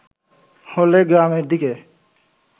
হলে গ্রামের দিকে হয়